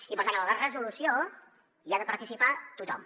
i per tant en la resolució hi ha de participar tothom